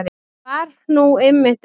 Það var nú einmitt ekki